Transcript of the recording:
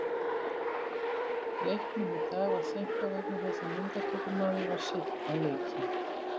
Leiknum í dag var seinkað vegna þess að myndatökumaður var seinn á leikinn.